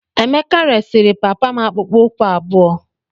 Emeka resịrị papa m akpụkpọ ụkwụ abụọ.